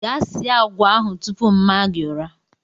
Gaa sie agwa ahụ tupu mma gi ụra!